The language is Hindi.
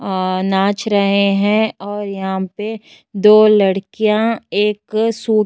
आ नाच रहे है और यहाँ पे दो लड़कियां एक सूट --